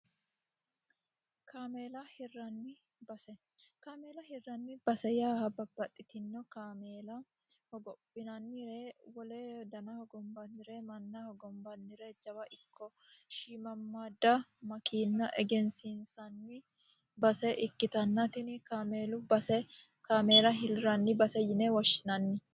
kaameela hirranni base. Kaameela hiranni base yaa babbaxxitino kaameela hogophinnannire wole dana hogombannire manna hogombannire jawa ikko shimammadda makiinna egensiinsanni base ikkitanna tinni kaameelu base kaameela hirranni base yine woshshinnanni.